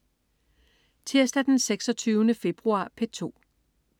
Tirsdag den 26. februar - P2: